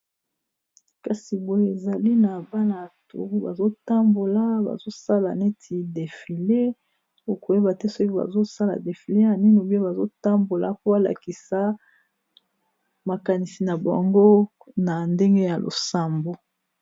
kasi boye ezali na bana to bazotambola bazosala neti defile okoyeba te soki bazosala defile ya nini biyo bazotambola koalakisa makanisi na baongo na ndenge ya losambo